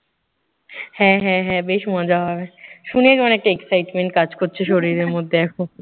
হ্যাঁ হ্যাঁ হ্যাঁ বেশ মজা হবে। শুনে মনে একটা excitement কাজ করছে শরীরে মধ্যে এখন।